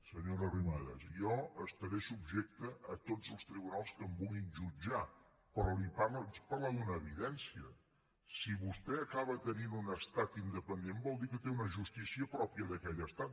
senyora arrimadas jo estaré subjecte a tots els tribunals que em vulguin jutjar però li parlo li vaig parlar d’una evidència si vostè acaba tenint un estat independent vol dir que té una justícia pròpia d’aquell estat